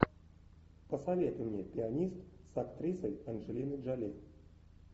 посоветуй мне пианист с актрисой анджелиной джоли